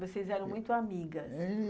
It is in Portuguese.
Vocês eram muito amigas.